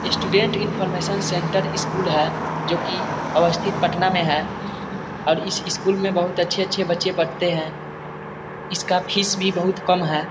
Student information centre school है जो कि अवस्थित पटना में है और इस स्कूल में बहुत अच्छे-अच्छे बच्चे पढ़ते हैं इसका फीस भी बहुत कम है।